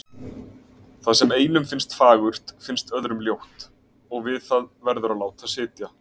Það sem einum finnst fagurt finnst öðrum ljótt, og við það verður að láta sitja.